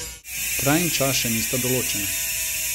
Kraj in čas še nista določena.